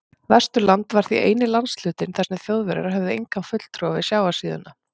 Vesturland var því eini landshlutinn, þar sem Þjóðverjar höfðu engan fulltrúa við sjávarsíðuna.